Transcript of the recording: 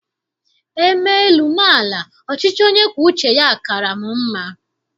E mee elu, mee ala, ọchịchị onye kwuo uche ya kaara m mma.